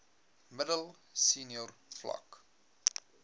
middel senior vlak